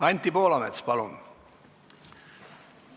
Anti Poolamets, palun!